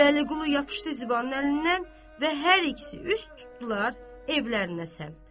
Vəliqudu yapışdı Zibanın əlindən və hər ikisi üst tutdular evlərinə səmt.